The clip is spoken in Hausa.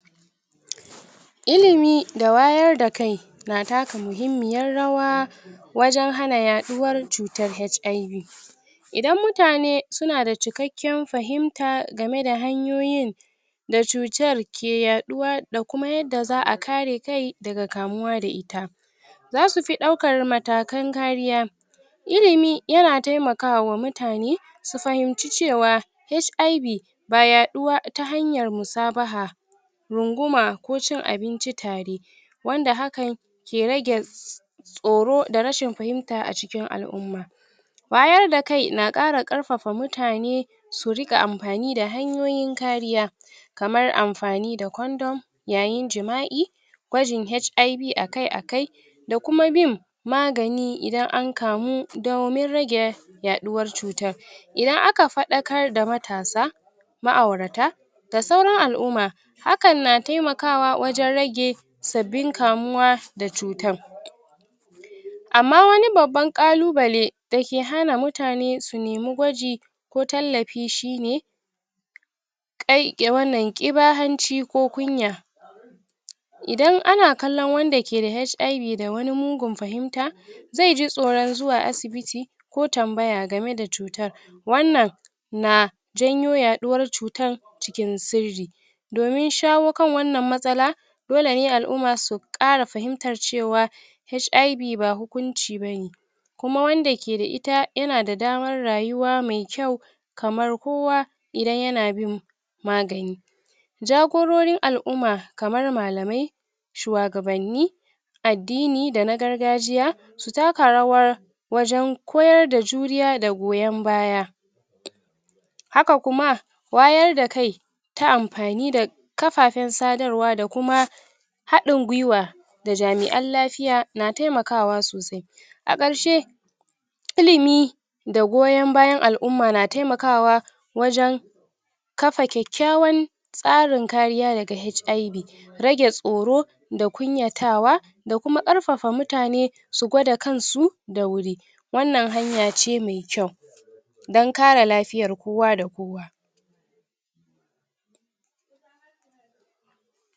ilimi da wayar da kai na taka muhimmiyar rawa wajen hana yaɗuwar cutar HIV idan mutane suna da cikakkiyan fahimta game da hanyoyin da cutar ke yaɗuwa da kuma yadda za a kare kai daga kamuwa da ita zasu fi ɗaukar matakan kariya ilimi yana taimakawa mutane su fahimci cewa HIV ba yaɗuwa ta hanyar musabaha runguma ko cin abinci tare wanda hakan ke rage tsoro da rashin fahimta a cikin al'umma wayar da kai na ƙara ƙarfafa mutane su riƙa amfani da hanyoyin kariya kamar amfani da condom yayin jima'i gwajin HIV akai-akai da kuma bin magani idan an kamu domin rage yaɗuwar cutar idan aka faɗakar da matasa ma'aurata da sauran al'umma hakan na taimakawa wajen rage sabbin kamuwa da cutan amma wani babban ƙalubale da ke hana mutane su nemi gwaji ko tallafi shi ne ƙai i wannan, ƙiba hanci ko kunya idan ana kallon wanda ke da HIV da wani mugun fahinta zai ji tsoron zuwa asibiti ko tambaya game da cutar wannan na janyo yaɗuwar cutar cikin sirri domin shawo kan wannan matsala dole ne al'umma su ƙara fahimtar cewa HIV ba hukunci ba ne kuma wanda ke da ita yana da damar rayuwa mai kyau kamar kowa idan yana bin magani jagororin al'umma kamar malamai shuwagabanni addini da na gargajiya su taka rawar wajen koyar da juriya da goyon baya haka kuma wayar da kai ta amfani da kafafen sadarwa da kuma haɗin gwiwa da jami'an lafiya na taimakawa sosai a ƙarshe ilimi da goyon bayan al'umma na taimakawa wajen kafa kyakkyawan tsarin kariya daga HIV rage tsoro da kunyatawa da kuma ƙarfafa mutane su gwada kansu da wuri wannan hanya ce mai kyau don kare lafiyar kowa da kowa